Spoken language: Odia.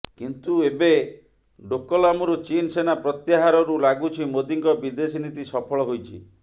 କିନ୍ତୁ ଏବେ ଡୋକଲାମରୁ ଚୀନ ସେନା ପ୍ରତ୍ୟାହରରୁ ଲାଗୁଛି ମୋଦିଙ୍କ ବିଦେଶୀ ନୀତି ସଫଳ ହୋଇଛି